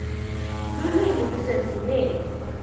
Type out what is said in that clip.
lulwimi lusendzimeni